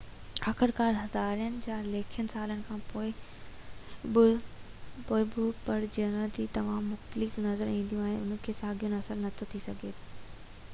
آخرڪار هزارين يا لکين سالن کان پوءِ ٻه پرجاتيون تمام مختلف نظر اينديون ته انهن کي ساڳيو نسل نٿو سڏجي سگهي